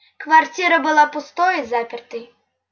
квартира была пустой и запертой